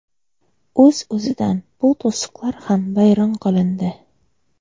O‘z o‘zidan bu to‘siqlar ham vayron qilindi.